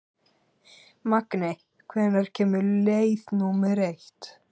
Magney, hvenær kemur leið númer eitt?